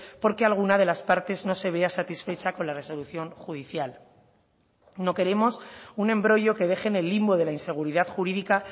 porque alguna de las partes no se vea satisfecha con la resolución judicial no queremos un embrollo que deje en el limbo de la inseguridad jurídica